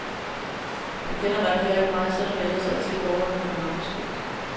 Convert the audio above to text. Han kender nok heller ikke mig, selv om jeg ellers altid går rundt med et navneskilt.